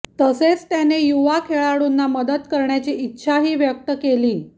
तसेच त्याने युवा खेळाडूंना मदत करण्याची इच्छाही व्यक्त केली